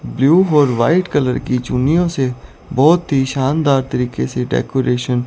blue और white colour की चुन्नियों से बहोत ही शानदार तरीके से डेकोरेशन --